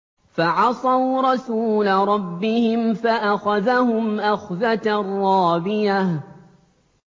فَعَصَوْا رَسُولَ رَبِّهِمْ فَأَخَذَهُمْ أَخْذَةً رَّابِيَةً